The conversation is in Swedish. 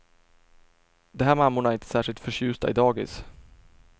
De här mammorna är inte särskilt förtjusta i dagis.